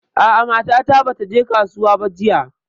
A'a mata ta bata je kasuwa ba jiya.